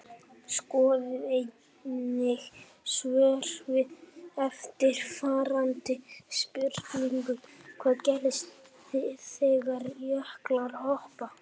Skoðið einnig svör við eftirfarandi spurningum Hvað gerist þegar jöklar hopa?